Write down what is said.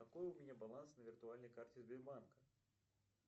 какой у меня баланс на виртуальной карте сбербанка